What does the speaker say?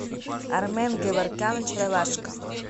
армен геворкян очаровашка